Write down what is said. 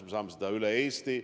Siis saame teha seda üle Eesti.